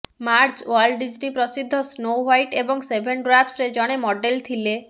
Marge Walt Disney ପ୍ରସିଦ୍ଧ snow white ଏବଂ seven ଡ୍ବାର୍ଫସ୍ରେ ଜଣେ ମଡେଲ୍ ଥିଲେ